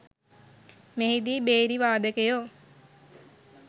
මෙහිදී භේරි වාදකයෝ